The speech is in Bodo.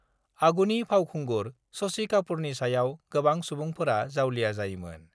आगुनि फावखुंगुर शशि कापुरनि सायाव गोबां सुबुंफोरा जावलिया जायोमोन